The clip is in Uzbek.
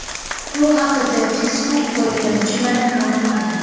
Bu haqda Facebook foydalanuvchilari ma’lum qilgan .